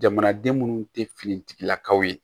Jamanaden munnu tɛ finitigilakaw ye